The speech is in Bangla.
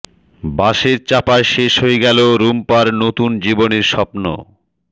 বাসের চাপায় শেষ হয়ে গেল রুম্পার নতুন জীবনের স্বপ্ন